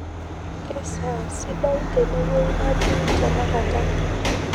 kesaa sidai tenewei natiii tenekata